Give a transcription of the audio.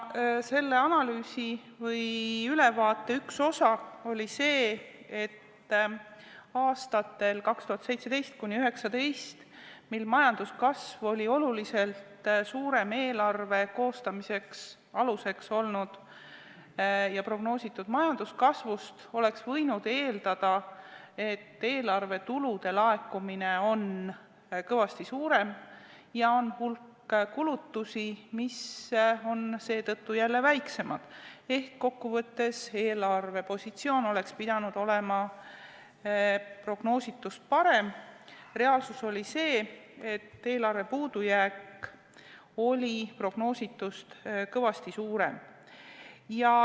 Selle analüüsi või ülevaate üks osi oli see, et aastatel 2017–2019, mil majanduskasv oli oluliselt suurem eelarve koostamise aluseks olnud ja prognoositud majanduskasvust, oleks võinud eeldada, et eelarve tulude laekumine on kõvasti suurem ja hulk kulutusi on seetõttu jälle väiksemad ehk eelarve positsioon oleks pidanud olema prognoositust parem, reaalsus oli see, et eelarve puudujääk oli prognoositust kõvasti suurem.